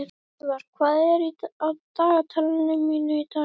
Sívar, hvað er á dagatalinu mínu í dag?